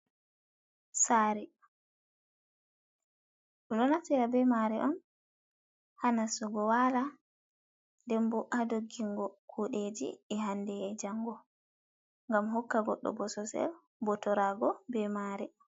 Saare. Ɓe ɗo naftira be mare on ha nassugo wala, nden bo haa doggingo kuɗeji e hande e jango ngam hokka goɗɗo bosesel botorago be mare.